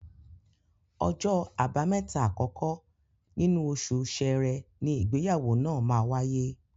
Ọjọ́ Àbámẹ́ta àkọ́kọ́ nínú oṣù Ṣẹrẹ ni ìgbéyàwó náà máa wáyé